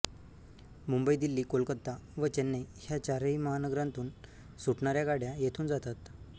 मुंबई दिल्ली कोलकाता व चेन्नई ह्या चारही महानगरांतून सुटणाऱ्या गाड्या येथून जातात